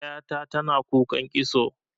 Ƴa ta tana kukan kitso.